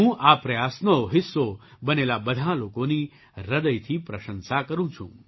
હું આ પ્રયાસનો હિસ્સો બનેલા બધાં લોકોની હૃદયથી પ્રશંસા કરું છું